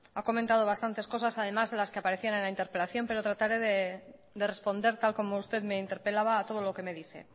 ha comentado bastantes cosas además de las que aparecía en la interpelación pero trataré de responder tal como usted me interpelaba a todo lo que me dice